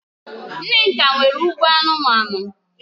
Nneka nwere ugbo anumanu